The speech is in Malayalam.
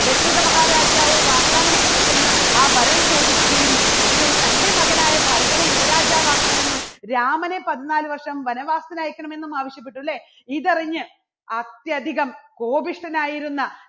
ദശരഥ മഹാരാജാവ് വാഗ്ദാനം ചെയ്തിരുന്ന ആ വരം ചോദിക്കുകയും ഒടുവിൽ തൻറെ മകനായ ഭരതനെ യുവരാജാവ് ആക്കണമെന്നും രാമനെ പതിനാല് വർഷം വനവാസത്തിന് അയക്കണമെന്നും ആവശ്യപ്പെട്ടു, അല്ലേ? ഇതറിഞ്ഞ് അത്യധികം കോപിഷ്ഠനായിരുന്ന